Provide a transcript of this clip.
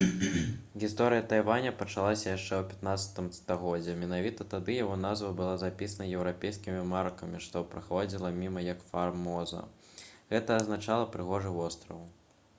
гісторыя тайваня пачалася яшчэ ў 15 стагоддзі. менавіта тады яго назва была запісана еўрапейскімі маракамі што праходзілі міма як «фармоза» — гэта азначала «прыгожы востраў»